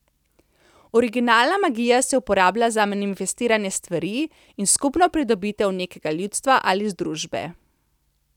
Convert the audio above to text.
Originalna magija se je uporabljala za manifestiranje stvari in skupno pridobitev nekega ljudstva ali združbe.